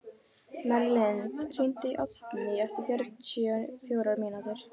Merlin, hringdu í Oddgný eftir fjörutíu og fjórar mínútur.